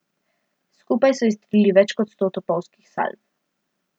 Skupaj so izstrelili več kot sto topovskih salv.